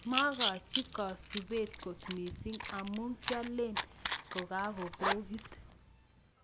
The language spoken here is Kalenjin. Makachiii kasupeet kot misiing amuu kialeen kakopokit